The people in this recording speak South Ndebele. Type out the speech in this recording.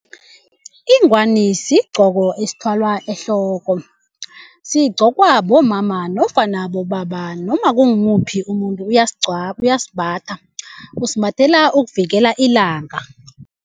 Ingwani sigqoko esithwalwa ehloko sigcokwa bomama nofana bobaba noma kungimuphi umuntu uyasimbatha usimbathele ukuvikela ilanga.